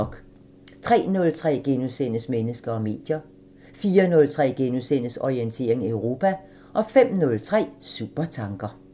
03:03: Mennesker og medier * 04:03: Orientering Europa * 05:03: Supertanker